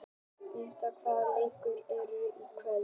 Benidikta, hvaða leikir eru í kvöld?